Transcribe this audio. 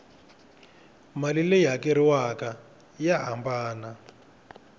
mali leyi hakeriwaku ya hambana